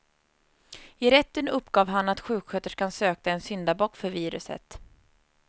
I rätten uppgav han att sjuksköterskan sökte en syndabock för viruset.